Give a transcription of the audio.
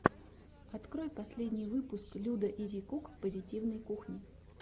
открой последний выпуск людаизикук позитивной кухни